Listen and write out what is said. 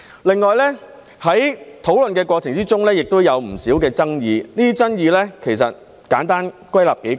另外，在討論的過程中，也有不少爭議，這些爭議可簡單歸納為數點。